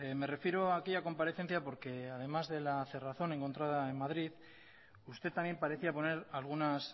me refiero a aquella comparecencia porque además de la cerrazón encontrada en madrid usted también parecía poner algunas